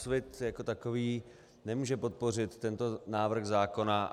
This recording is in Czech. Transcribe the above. Úsvit jako takový nemůže podpořit tento návrh zákona.